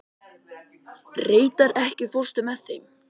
Reidar, ekki fórstu með þeim?